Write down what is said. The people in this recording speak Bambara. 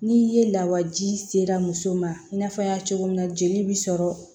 Ni ye lawaji sera muso ma i n'a fɔ an y'a cogo min na jeli bi sɔrɔ